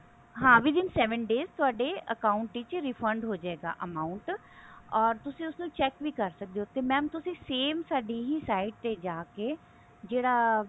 ਹਾਂ with in seven days ਥੋਡੇ account ਵਿੱਚ refund ਹੋਜੇਗਾ amount ਓਰ ਤੁਸੀਂ ਉਸ ਨੂੰ check ਵੀ ਕਰ ਸਕਦੇ ਹੋ ਤੇ mam ਤੁਸੀਂ same ਸਾਡੀ ਹੀ site ਤੇ ਜਾ ਕਿ ਜਿਹੜਾ